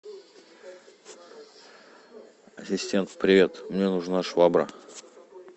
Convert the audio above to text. ассистент привет мне нужна швабра